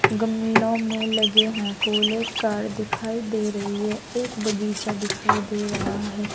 गमलों में लगे हैं फूल एक कार दिखाई दे रही है एक बगीचा दिखाई दे रहा है।